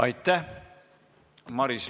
Aitäh!